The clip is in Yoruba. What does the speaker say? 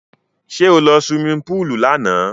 Sẹ́ ó lọ sí suwimi púùlù lánàá?